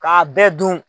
K'a bɛɛ dun